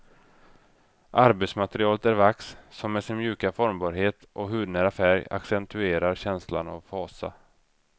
Arbetsmaterialet är vax, som med sin mjuka formbarhet och hudnära färg accentuerar känslan av fasa.